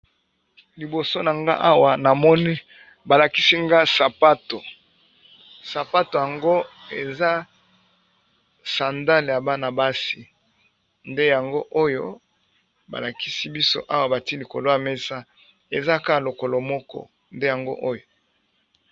Liboso na nga awa na mone balakisi nga sapato sapato yango eza sandale ya bana basi nde yango oyo balakisi biso awa batili kolwa mesa eza ka lokolo moko nde yango oyo.